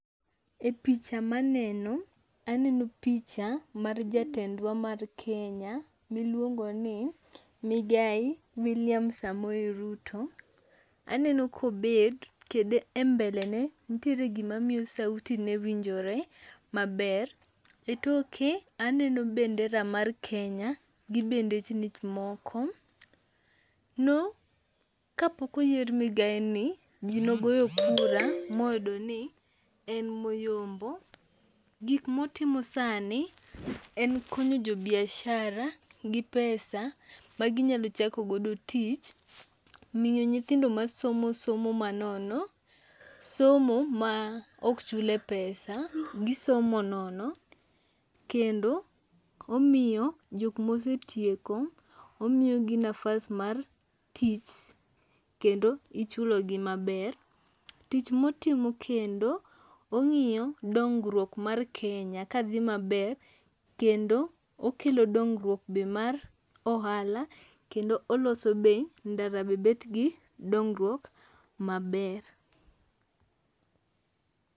E picha ma aneno, aneno picha mar jatendwa mar Kenya, ma iluongo ni, Migai William Samoei Ruto. Aneno ka obet, kendo e mbele ne, nitiere gima miyo sauti ne winjore maber. E toke aneno bendera mar Kenya gi bendechni moko. No, ka pok oyier migaini, ji ne ogoyo kura ma oyudo ni, en ema oyombo. Gik ma otimo sani , en konyo jo biashara gi pesa ma ginyalo chakogodo tich, miyo nyithindo masomo somo manono, somo ma ok chule pesa , gisomo nono. Kendo, omiyo jok ma osetieko, omiyogi nafas mar tich kendo ichulogi maber. Tich motimo kendo, ong'iyo dongruok mar Kenya ka dhi maber, kendo okelo dongruok be mar ohala, kendo oloso be ndara be bet gi dongruok maber.